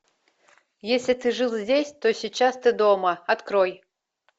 если ты жил здесь то сейчас ты дома открой